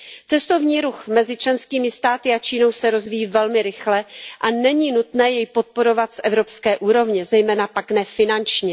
Cestovní ruch mezi členskými státy a Čínou se rozvíjí velmi rychle a není nutné jej podporovat z evropské úrovně, zejména pak ne finančně.